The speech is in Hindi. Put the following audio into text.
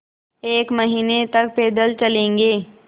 एक महीने तक पैदल चलेंगे